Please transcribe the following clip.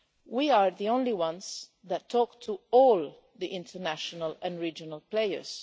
We are the only ones that talk to all the international and regional players.